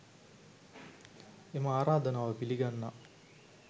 එම ආරාධනාව පිළිගන්නා